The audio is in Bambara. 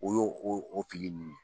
O y'o o fili ninnu ye